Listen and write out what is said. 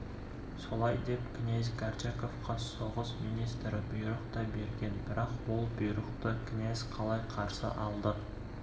солай деп князь горчаковқа соғыс министрі бұйрық та берген бірақ ол бұйрықты князь қалай қарсы алды